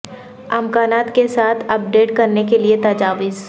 امکانات کے ساتھ اپ ڈیٹ کرنے کے لئے تجاویز